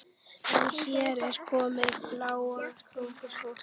En hér er komið bláókunnugt fólk.